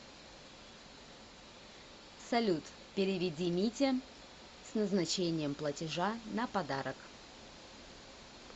салют переведи мите с назначением платежа на подарок